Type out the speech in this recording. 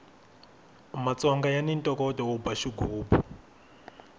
matsongo yani ntokoto wo ba xigubu